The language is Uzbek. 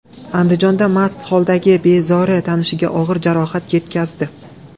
Andijonda mast holdagi bezori tanishiga og‘ir jarohat yetkazdi.